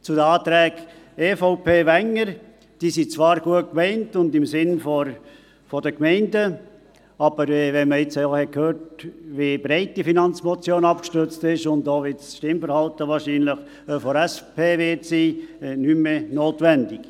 Zu den Anträgen EVP Wenger: Sie sind zwar gut gemeint und im Sinne der Gemeinden, aber wenn man jetzt hört, wie breit die Finanzmotion () abgestützt ist und auch wie das Stimmverhalten der SP wahrscheinlich sein wird, sind die Anträge nicht mehr notwendig.